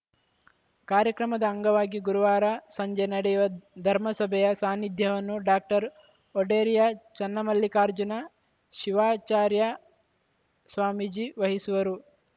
ಕಾರ್ಯಕ್ರಮದ ಅಂಗವಾಗಿ ಗುರುವಾರ ಸಂಜೆ ನಡೆಯುವ ಧರ್ಮಸಭೆಯ ಸಾನಿಧ್ಯವನ್ನು ಡಾಕ್ಟರ್ ಒಡೆರ್ಯಾ ಚನ್ನಮಲ್ಲಿಕಾರ್ಜುನ ಶಿವಾಚಾರ್ಯಸ್ವಾಮಿಜಿ ವಹಿಸುವರು